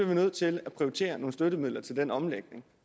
vi nødt til at prioritere nogle støttemidler til den omlægning